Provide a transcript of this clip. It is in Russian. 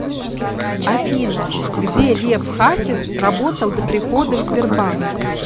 афина где лев хасис работал до прихода в сбербанк